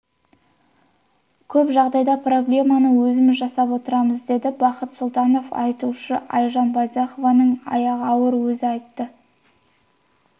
көп жағдайда проблеманы өзіміз жасап отырмыз деді бақыт сұлтанов атышулы айжан байзақованың аяғы ауыр өзі айтты